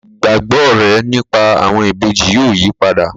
Ìgbàgbọ́ rẹ̀ nípa àwọn ìbejì yóò yípadà